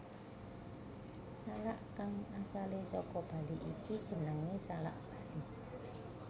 Salak kang asalé saka Bali iki jenengé salak Bali